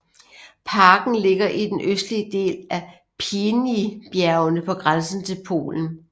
Parken ligger i den østlige del af Pieninybjergene på grænsen til Polen